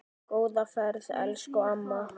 Góða ferð elsku amma.